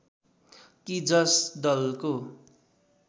कि जस दलको